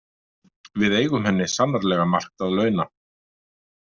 Við eigum henni sannarlega margt að launa.